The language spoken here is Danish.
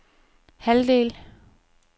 halvdel